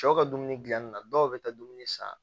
Cɛw ka dumuni gilanni na dɔw bɛ taa dumuni san